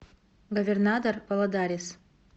говернадор валадарис